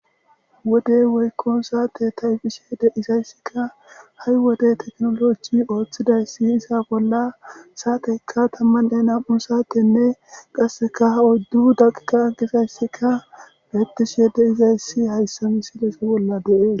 wodey weykkon saate ta7ifishhede izayssikka ha7i wode teknoloji ooththidayssi iza bolla saateykka tammanne nam7u saatenne qasseka ha oddu daqika gisayssika beetishise deizayssi hayssa mi sidese bolla deees